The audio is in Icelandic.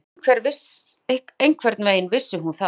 Einhvern veginn vissi hún það.